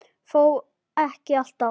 Þó ekki alltaf.